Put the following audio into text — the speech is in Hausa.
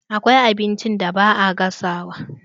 Akwai abinci da ba a gasawa.